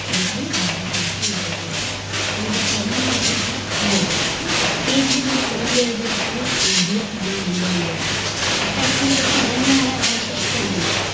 PHD भारतीय नफ्याचा वाट आणि the problem of rupeePSCPHD दिली कोलंबिया विद्यापिठान DH हे नंदन विद्यापीठानं आता ACTUALLY त्यांचा जन्म आहे अठराशे एक्क्यानौ चा